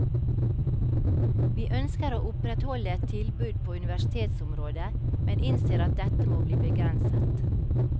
Vi ønsker å opprettholde et tilbud på universitetsområdet, men innser at dette må bli begrenset.